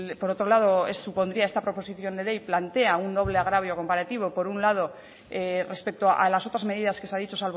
por otro lado supondría esta proposición de ley plantea un doble agravio comparativo por un lado respecto a las otras medidas que se ha dicho